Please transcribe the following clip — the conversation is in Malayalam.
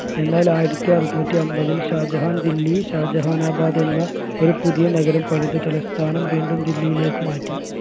എന്നാൽ ആയിരത്തി അറുനൂറ്റി അമ്പതിൽ ഷാജഹാൻ ദില്ലി ഷാജഹാനബാദ് എന്ന ഒരു പുതിയ നഗരം പണിത തലസ്ഥാനം വീണ്ടും ദില്ലിയിലേക്ക് മാറ്റി